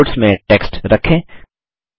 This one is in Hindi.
कैलआउट्स में टेक्स्ट रखें